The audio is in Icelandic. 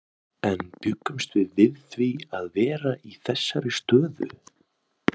En bjuggumst við við því að vera í þessari stöðu?